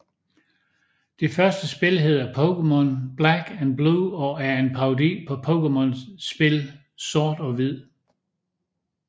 Det første spil hedder pokemon black and blue og er en parodi på Pokemon spil sort og hvid